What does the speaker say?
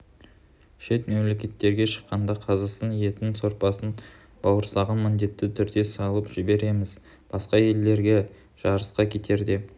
шет мемлекеттерге шыққанда қазысын етін сорпасын бауырсағын міндетті түрде салып жібереміз басқа елдерге жарысқа кетерде